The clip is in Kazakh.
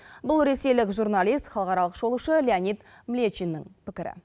бұл ресейлік журналист халықаралық шолушы леонид млечиннің пікірі